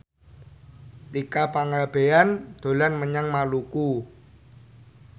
Tika Pangabean dolan menyang Maluku